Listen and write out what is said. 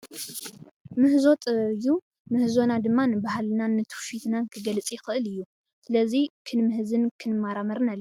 ምህዞ ጥበብ እዩ። ምህዞና ድማ ንባህልናን ትውፊትናን ክገልፅ ይክእል እዩ። ስለዚ ክንምህዝን ክንመራመርን አለና ።